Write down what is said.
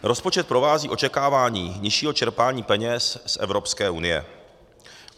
Rozpočet provází očekávání nižšího čerpání peněz z Evropské unie.